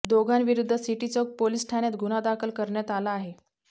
दोघांविरुद्ध सिटीचौक पोलीस ठाण्यात गुन्हा दाखल करण्यात आला आहे